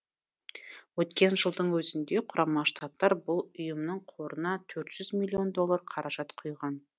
өткен жылдың өзінде құрама штаттар бұл ұйымның қорына төрт жүз миллион доллар қаражат құйған